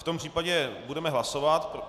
V tom případě budeme hlasovat.